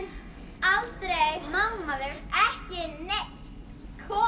aldrei má maður ekki neitt komum